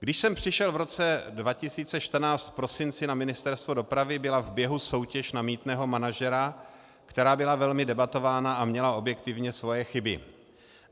Když jsem přišel v roce 2014 v prosinci na Ministerstvo dopravy, byla v běhu soutěž na mýtného manažera, která byla velmi debatována a měla objektivně svoje chyby.